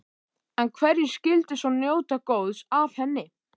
En hverjir skyldu svo njóta góðs af henni?